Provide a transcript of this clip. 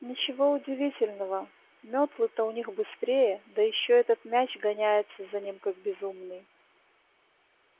ничего удивительного метлы-то у них быстрее да ещё этот мяч гоняется за ним как безумный